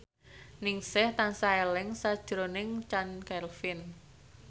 Ningsih tansah eling sakjroning Chand Kelvin